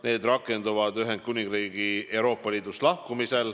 Need rakenduvad Ühendkuningriigi Euroopa Liidust lahkumisel.